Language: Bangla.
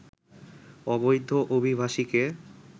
অবৈধ অভিবাসীকে